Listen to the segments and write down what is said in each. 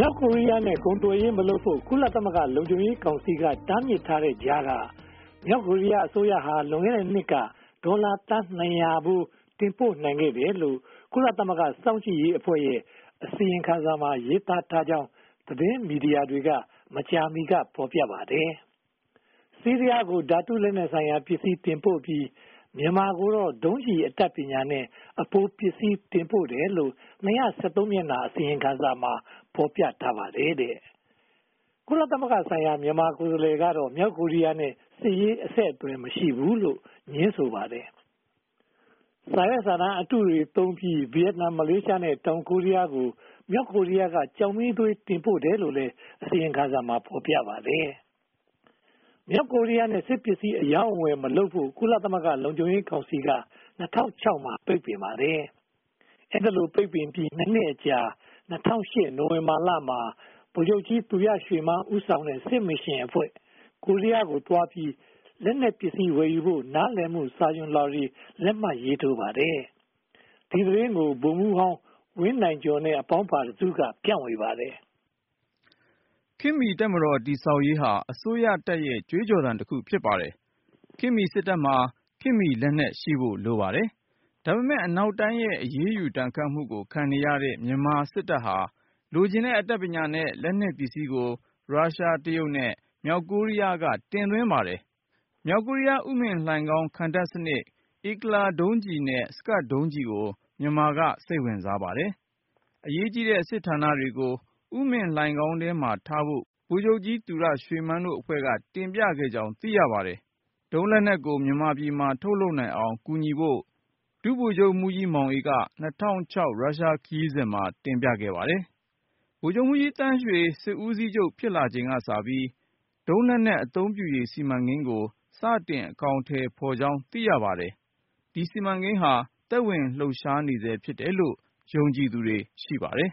ြောက်ကိုရီးယားနဲ့ ကုန်သွယ်ရေးမလုပ်ဖို့ ကုလသမဂ္ဂ လုံခြုံရေးကောင်စီက တားမြစ်ထားတဲ့ကြားက မြောက်ကိုရီးယားအစိုးရဟာ လွန်ခဲ့တဲ့နှစ်က ဒေါ်လာသန်း (၂၀၀) ဖိုး တင်ပို့နိုင်ခဲ့တယ်လို့ ကုလသမဂ္ဂ စောင့်ကြည့်ရေးအဖွဲ့ရဲ့ အစီရင်ခံစာမှာ ရေးသားထားကြောင်း သတင်းအေဂျင်စီတွေက မကြာမီက ဖော်ပြပါတယ်။ ဆီးရီးယားကို ဓါတုလက်နက်ဆိုင်ရာ ပစ္စည်းများ တင်ပို့ပြီး မြန်မာကိုတော့ ဒုံးကျည် အတတ်ပညာနဲ့ အပိုပစ္စည်း တင်ပို့တယ်လို့ (၂၁၃) စာမျက်နှာ အစီရင်ခံစာ ဖော်ပြထားပါတယ်။ ကုလသမဂ္ဂဆိုင်ရာ မြန်မာကိုယ်စားလှယ်ကတော့ မြောက်ကိုရီးယားနဲ့ စစ်ရေး အဆက်အသွယ် မရှိဘူးလို့ ငြင်းဆိုပါတယ်။ စာရွက်စာတမ်းအတုတွေသုံးပြီး ဗိယက်နမ်၊ မလေးရှား နဲ့ တောင်ကိုရီးယားတို့ကို မြောက်ကိုရီးယားက ကျောက်မီးသွေးတွေ တင်ပို့တယ်လို့လည်း အစီရင်ခံစာမှာ ဖော်ပြပါတယ်။ မြောက်ကိုရီးယားနဲ့ စစ်ပစ္စည်း အရောင်းအဝယ်မလုပ်ဖို့ ကုလသမဂ္ဂလုံခြုံရေးကောင်စီက (၂၀၀၆) မှာ ပိတ်ပင်ပါတယ်။ အဲဒီလို ပိတ်ပင်ပြီး (၂) နှစ်အကြာ (၂၀၀၈) နိုဝင်ဘာလမှာ ဗိုလ်ချုပ်ကြီးသူရရွှေမန်း ဦးဆောင်တဲ့ စစ်မစ်ရှင်အဖွဲ့ မြောက်ကိုရီးယားကိုသွားပြီး လက်နက်ပစ္စည်းဝယ်ယူဖို့ နားလည်မှု စာချွန်လွှာတွေ လက်မှတ်ရေးထိုးပါတယ်။ ဒီသတင်းကို ဗိုလ်မှူးဟောင်းဝင်းနိုင်ကျော်နဲ့ အပေါင်းပါတစုက ဖြန့်ဝေပါတယ်။ ခေတ်မီတပ်မတော်တည်ဆောက်ရေးဟာ အစိုးရတပ်ရဲ့ ကြွေးကြော်သံတခု ဖြစ်ပါတယ်။ ခေတ်မီစစ်တပ်မှာ ခေတ်မီလက်နက်ရှိဖို့ လိုပါတယ်။ ဒါပေမဲ့ အနောက်တိုင်းရဲ့ အရေးယူဒဏ်ခတ်မှုကို ခံနေရတဲ့ မြန်မာစစ်တပ်ဟာ လိုချင်တဲ့ အတတ်ပညာနဲ့ လက်နက်ပစ္စည်းကို ရုရှား၊ တရုတ် နဲ့ မြောက်ကိုရီးယားတို့က တင်သွင်းပါတယ်။ မြောက်ကိုရီးယား ဥမင်လှိုဏ်ခေါင်းခံတပ်စနစ်၊ IGLA ဒုံးကျည်နဲ့ Scud ဒုံးကျည်တို့ကို မြန်မာက စိတ်ဝင်စားပါတယ်။ အရေးကြီးတဲ့ စစ်ဌာနတွေကို ဥမင်လှိုဏ်ခေါင်းထဲမှာထားဖို့ ဗိုလ်ချုပ်ကြီးသူရရွှေမန်းတို့အဖွဲ့က တင်ပြခဲ့ကြောင်း သိရပါတယ်။ ဒုံးလက်နက်ကို မြန်မာပြည်မှာ ထုတ်လုပ်နိုင်အောင် ကူညီဖို့ ဒုဗိုလ်မှူးကြီးမောင်အေး က ၂၀၀၆ ရုရှားခရီးစဉ်မှာ တင်ပြခဲ့ပါတယ်။ ဗိုလ်ချုပ်မှူးကြီးသန်းရွှေ စစ်ဦးစီးချုပ် ဖြစ်လာချိန်ကစပြီး ဒုံးလက်နက် အသုံးပြုရေး စီမံကိန်းကို စတင်အကောင်အထည်ဖော်ကြောင်း သိရှိရပါတယ်။ ဒီ စီမံကိန်းဟာ သက်ဝင်လှုပ်ရှားနေဆဲ ဖြစ်တယ်လို့ ယုံကြည်သူတွေ ရှိပါတယ်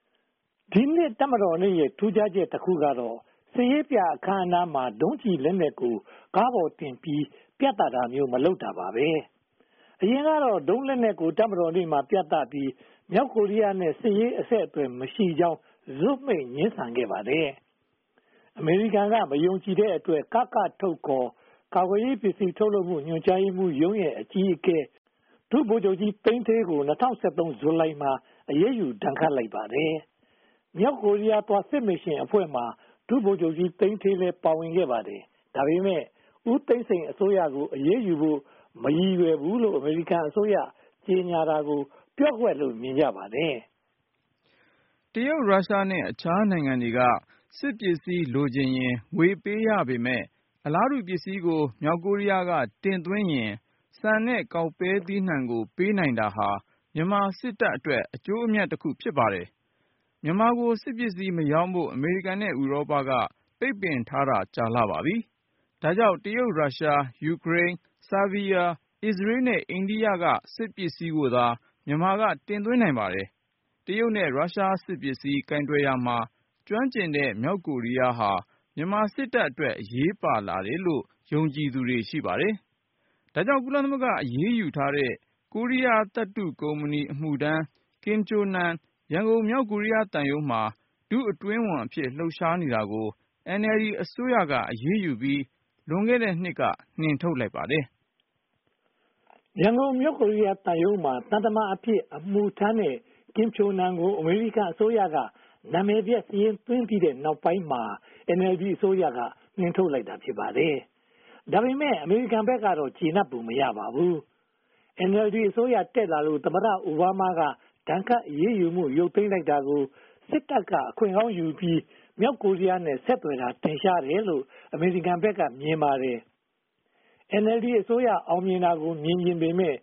။ ဒီနှစ်တပ်မတော်နေ့ရဲ့ ထူးခြားချက်တခုကတော့ စစ်ရေးပြအခမ်းအနားမှာ ဒုံးလက်နက်တွေကို ကားပေါ်တင်ပြတာမျိုး မလုပ်တော့တာပါ။ အရင်ကတော့ ဒုံးလက်နက်ကို တပ်မတော်နေ့မှာ ပြသပြီး မြောက်ကိုရီးယားနဲ့ စစ်ရေးအဆက်အသွယ်မရှိကြောင်း ဇွတ်မှိတ်ငြင်းဆန်ခဲ့ပါတယ်။ အမေရိကန်က မယုံကြည်တဲ့အတွက် ကကထုတ် (ခေါ်) ကာကွယ်ရေးပစ္စည်း ထုတ်လုပ်မှု ညွှန်ကြားရေးမှူးရုံးရဲ့ အကြီးအကဲ ဒုဗိုလ်ချုပ်ကြီးသိန်းဌေးကို ၂၀၁၃ ဇူလိုင်လမှာ အရေးယူဒဏ်ခတ်လိုက်ပါတယ်။ မြောက်ကိုရီးယားသွား စစ်မစ်ရှင်အဖွဲ့မှာ ဒုဗိုလ်မှူးကြီးသိန်းဌေးလည်း ပါဝင်ခဲ့ပါတယ်။ ဒါပေမဲ့ ဦးသိန်းစိန်အစိုးရကို အရေးယူဖို့ မရည်ရွယ်ဘူးလို့ အမေရိကန်အစိုးရက ကြေညာတာကို ပျော့ကွက်လို့ မြင်ကြပါတယ်။ တရုတ်၊ ရုရှား နဲ့ အခြားနိုင်ငံတွေက စစ်ပစ္စည်းလိုချင်ရင် ငွေပေးရပေမယ့် အလားတူပစ္စည်းကို မြောက်ကိုရီးယားဘက်က တင်သွင်းရင် ဆန်နဲ့ကောက်ပဲသီးနံှတို့ကို ပေးနိုင်တာကြောင့် မြန်မာစစ်တပ်အတွက် အကျိုးအမြတ်တခု ဖြစ်ပါတယ်။ မြန်မာကို စစ်ပစ္စည်းမရောင်းဖို့ အမေရိကန်နဲ့ ဥပဒေတို့က ပိတ်ပင်ထားတာ ကြာလှပါပြီ။ ဒါကြောင့် ရုရှား၊ တရုတ်၊ ယူခရိန်း၊ ဆားဗီးယား၊ အစ္စရေးနဲ့ အိန္ဒိယတို့ဆီက စစ်ပစ္စည်းတို့ကိုသာ မြန်မာက တင်သွင်းပါတယ်။ တရုတ်နဲ့ ရုရှား စစ်ပစ္စည်း ကိုင်တွယ်ရာမှာ ကျွမ်းကျင်တဲ့ မြောက်ကိုရီးယားဟာ မြန်မာစစ်တပ်အတွက် အရေးပါလာတယ်လို့ ယုံကြည်သူတွေ ရှိပါတယ်။ ဒါကြောင့် ကုလသမဂ္ဂအရေးယူထားတဲ့ ကိုရီးယားသတ္တုကုမ္ပဏီ အမှုထမ်း ကင်ချိုနမ် ရန်ကုန်-မြောက်ကိုရီးယား သံရုံးမှာ ဒုအတွင်းဝန်အဖြစ် လှုပ်ရှားနေတာကို NLD အစိုးရက အရေးယူပြီး လွန်ခဲ့တဲ့နှစ်က နှင်ထုတ်လိုက်ပါတယ်။ ရန်ကုန် မြောက်ကိုရီးယားသံရုံးမှာ သံတမန်အဖြစ် အမှုထမ်းခဲ့တဲ့ ကင်ချိုနမ် ကို အမေရိကန်အစိုးရက နာမည်ပျက်စာရင်းသွင်းထားတဲ့ နောက်ပိုင်းမှာ NLD အစိုးရက နှင်ထုတ်လိုက်တာ ဖြစ်ပါတယ်။ ဒါပေမဲ့ အမေရိကန်ဘက်ကတော့ ကျေနပ်ပုံမရပါဘူး။ NLD အစိုးရ တက်လာလို့ သမ္မတအိုဘားမားက ဒဏ်ခတ်အရေးယူမှု ရုတ်သိမ်းလိုက်တာကို စစ်တပ်က အခွင့်ကောင်းယူပြီး မြောက်ကိုရီးယားနဲ့ ဆက်သွယ်တာ ထင်ရှားတယ်လို့ အမေရိကန်ဘက်က မြင်ပါတယ်။ NLD အစိုးရ အောင်မြင်တာကို မြင်ချင်ပေမယ့်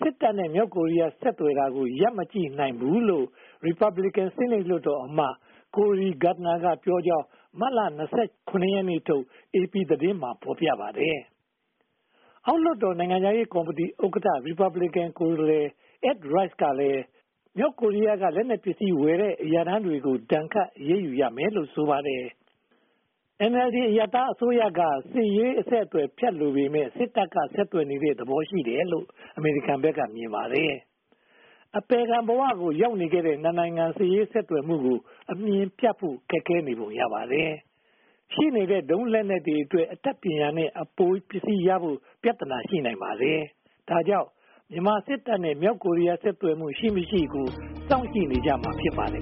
စစ်တပ်နဲ့ မြောက်ကိုရီးယားတို့ ဆက်သွယ်တာကို ရပ်မကြည့်နိုင်ဘူးလို့ ရီပတ်ဘလင်ကန် ဆီနိတ်လွှတ်တော်အမတ် Cory Gardner က ပြောကြောင်း မတ်လ (၂၇) ရက်နေ့ထုတ် AP သတင်းမှာ ဖော်ပြထားပါတယ်။ အောက်လွှတ်တော် နိုင်ငံခြားရေးကော်မတီဥက္ကဋ္ဌ ရီပတ်ဘလင်ကန် ကိုယ်စားလှယ် Ed Royce ကလည်း မြောက်ကိုရီးယားဆီက လက်နက်ပစ္စည်းဝယ်တဲ့ အမှုထမ်းအရာထမ်းတွေကို ဒဏ်ခတ်အရေးယူရမယ်လို့ ဆိုပါတယ်။ NLD အရပ်သားအစိုးရက စစ်ရေးအဆက်အသွယ် ဖြတ်လိုပေမယ့် စစ်တပ်က ဆက်သွယ်နေတဲ့ သဘောရှိတယ်လို့ အမေရိကန်ဘက်က မြင်ပါတယ်။ အပယ်ခံဘဝမှာ တည်ဆောက်ခဲ့တဲ့ နှစ်နိုင်ငံ စစ်ရေးဆက်သွယ်မှုကို အမျှင်ဖြတ်ဖို့ ခက်ခဲနေပုံရပါတယ်။ ရှိနေတဲ့ ဒုံးလက်နက်တွေအတွက် အတတ်ပညာနဲ့ အပိုပစ္စည်းရဖို့ ပြဿနာ ရှိနိုင်ပါတယ်။ ဒါကြောင့် မြန်မာစစ်တပ်နဲ့ မြောက်ကိုရီးယား ဆက်သွယ်မှု ရှိမရှိကို စောင့်ကြည့်နေကြမှာ ဖြစ်ပါတယ်